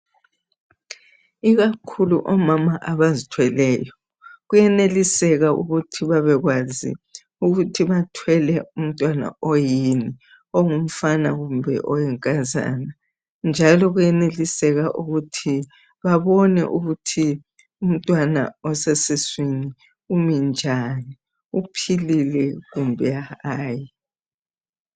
Ikakhulu omama abazithweleyo. Kuyeneliseka ukuthi babekwazi ukuthi bathwele umntwana oyini, ongumfana kumbe oyinkazana. Njalo kuyeneliseka ukuthi babone ukuthi umntwana osesiswini umi njani, uphilile kumbe hayi.